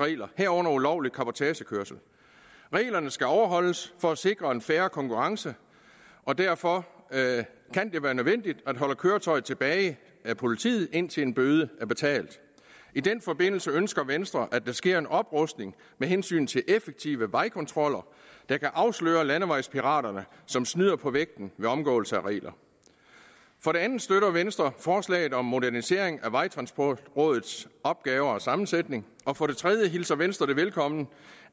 regler herunder ulovlig cabotagekørsel reglerne skal overholdes for at sikre en fair konkurrence og derfor kan det være nødvendigt at køretøjet holdes tilbage af politiet indtil en bøde er betalt i den forbindelse ønsker venstre at der sker en oprustning med hensyn til effektive vejkontroller der kan afsløre landevejspiraterne som snyder på vægten ved omgåelse af regler for det andet støtter venstre forslaget om en modernisering af vejtransportrådets opgaver og sammensætning og for det tredje hilser venstre velkommen